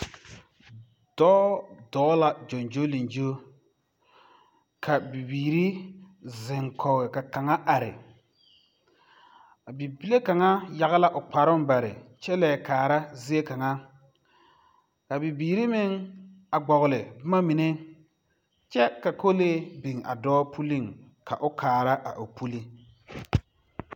Dɔɔ dɔɔ la gyoŋgyoleŋgyo ka bibiiri zeŋkɔge ka kaŋa are a bibile kaŋa yage la o karoŋ bare kyɛ leɛ kaara zie kaŋa a bibiiri meŋ a gbɔgli bomamine kyɛ ka kolee biŋ a dɔɔ puliŋ ka o kaara a o pulling.